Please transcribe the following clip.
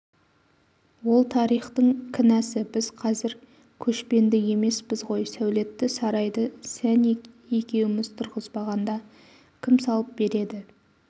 ол тарихтың кінәсі біз қазір көшпенді емеспіз ғой сәулетті сарайды сен екеуіміз тұрғызбағанда кім салып береді